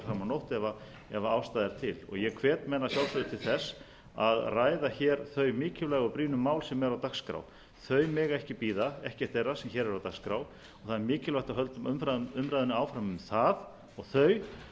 nótt ef ástæða er til ég hvet menn að sjálfsögðu til þess að ræða þau mikilvægu og brýnu mál sem eru á dagskrá þau mega ekki bíða ekkert þeirra sem hér eru á dagskrá og það er mikilvægt að við höldum umræðunni áfram um það og þau